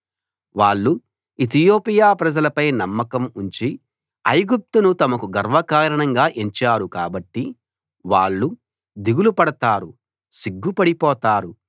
వాళ్ళు ఇతియోపియా ప్రజలపై నమ్మకం ఉంచి ఐగుప్తును తమకు గర్వకారణంగా ఎంచారు కాబట్టి వాళ్ళు దిగులు పడతారు సిగ్గుపడిపోతారు